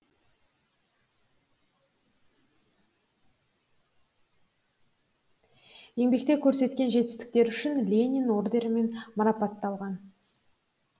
еңбекте көрсеткен жетістіктері үшін ленин орденімен марапатталған